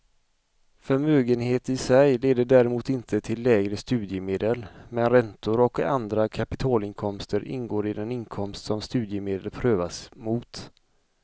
Förmögenhet i sig leder däremot inte till lägre studiemedel, men räntor och andra kapitalinkomster ingår i den inkomst som studiemedel prövas mot.